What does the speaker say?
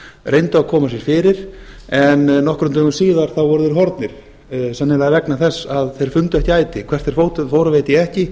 reyndu að koma sér fyrir en nokkrum dögum síðar voru þeir horfnir sennilega vegna þess að þeir fundu ekki æti hvert þeir fóru veit ég ekki